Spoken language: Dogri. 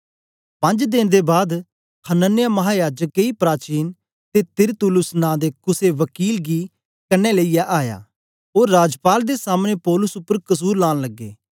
पंज्ज देन दे बाद हनन्याह महायाजक केई प्राचीन ते तिरतुल्लुस नां दे कुसे वकील गी कन्ने लेईयै आया ओ राजपाल दे सामने पौलुस उपर कसुर लान लगे